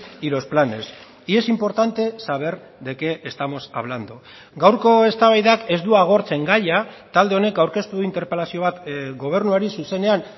y los planes y es importante saber de qué estamos hablando gaurko eztabaidak ez du agortzen gaia talde honek aurkeztu du interpelazio bat gobernuari zuzenean